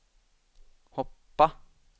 hoppa